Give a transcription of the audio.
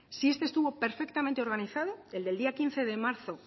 si este estuvo perfectamente organizado el del día quince de marzo